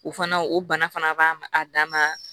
O fana o bana fana b'a ma a dan ma